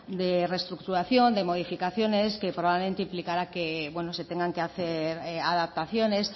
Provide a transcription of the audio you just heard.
de restructuración de modificaciones que probablemente implicará que se tengan que hacer adaptaciones